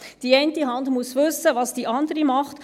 Die eine Hand muss wissen, was die andere tut.